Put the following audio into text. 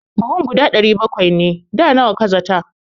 Buhun 700 ne, da nawa ka zata?